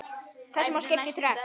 Þessu má skipta í þrennt.